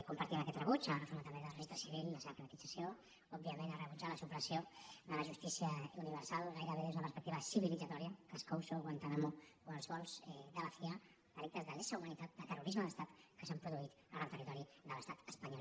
compartim aquest rebuig a la reforma també del registre civil i la seva privatització òbviament a rebutjar la supressió de la justícia universal gairebé des d’una perspectiva civilitzadora cas couso guantánamo o els vols de la cia delictes de lesa humanitat de terrorisme d’estat que s’han produït en territori de l’estat espanyol